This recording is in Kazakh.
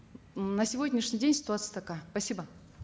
м на сегодняшний день ситуация такая спасибо